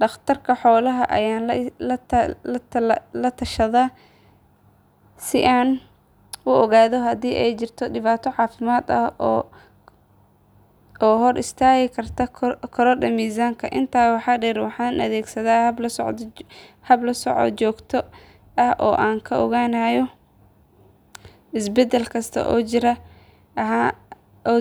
Dhaqtar xoolaad ayaan la tashadaa si aan u ogaado haddii ay jirto dhibaato caafimaad oo hor istaagi karta korodhka miisaanka. Intaa waxaa dheer waxaan adeegsadaa hab la socod joogto ah oo aan ku ogaanayo isbeddel kasta oo